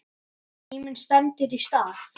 Þegar tíminn stendur í stað